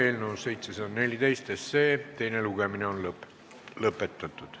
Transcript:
Eelnõu 714 teine lugemine on lõppenud.